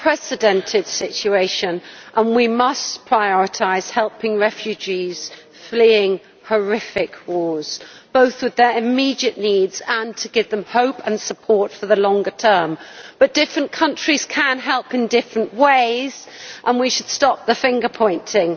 Mr President, we face an unprecedented situation and we must prioritise helping refugees fleeing horrific wars, both with their immediate needs and to give them hope and support for the longer term. But different countries can help in different ways and we should stop the finger pointing.